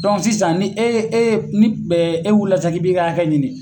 sisan ni e ye e ye ni e wulila sisan k'i b'i ka hakɛ ɲini.